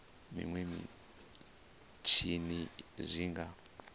zwa minwe mitshini zwi nga